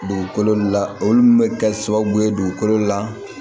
Dugukolo la olu min bɛ kɛ sababu ye dugukolo la